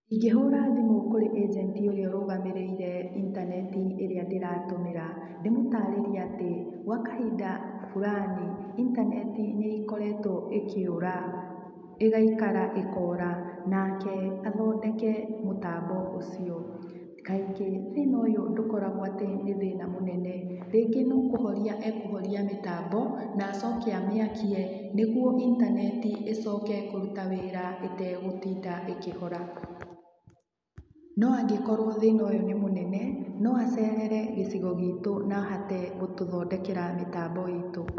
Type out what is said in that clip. Ingĩhũra thimũ kũrĩ ĩnjenti ũrĩa ũrũgamĩrĩire intaneti ĩrĩa ndĩratũmĩra. Ndĩmũtaarĩrie atĩ gwa kahinda fulani, intaneti nĩ ĩkoretwo ĩkĩũra, ĩgaikara ĩkora, nake athondeke mũtambo ũcio. Kaingĩ thĩna ndũkoragwo atĩ nĩ thĩna mũnene, rĩngĩ no kũhoria ekũhoria mĩtambo na acoke amĩakie, nĩguo intaneti ĩcoke kũruta wĩra ĩtegũtinda ĩkĩhora. No angĩkorwo thĩna ũyũ nĩ mũnene, no acerere gĩcigo giitũ na ahote gũtũthondekera mĩtambo itũ.